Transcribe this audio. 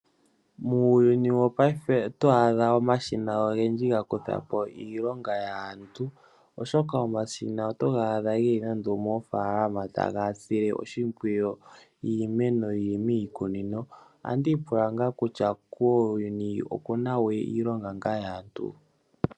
Muuyuni wopayife oto adha omashina gakuthapo iilonga yaantu oshoka omashina oto ga adha eli nando moofaalama taga sile oshimpwiyu iimeno yili miikunino ohandi ipula ngaa kutya kuuyuni okunawe iilonga yaantu